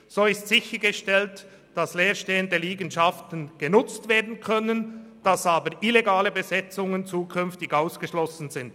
So ist sichergestellt, dass leer stehende Liegenschaften genutzt werden können, illegale Besetzungen aber zukünftig ausgeschlossen sind.